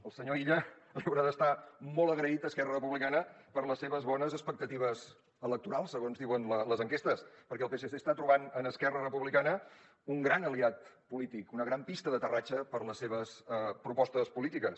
el senyor illa li haurà d’estar molt agraït a esquerra republicana per les seves bones expectatives electorals segons diuen les enquestes perquè el psc està trobant en esquerra republicana un gran aliat polític una gran pista d’aterratge per a les seves propostes polítiques